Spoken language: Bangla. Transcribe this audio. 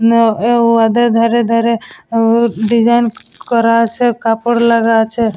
নও এ ওয়াদের ধারে ধারে ও ডিজাইন করা আছে কাপড় লাগা আছে--